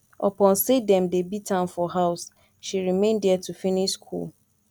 upon sey dem dey beat am for house she remain there to finish skool